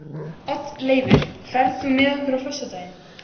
Oddleifur, ferð þú með okkur á föstudaginn?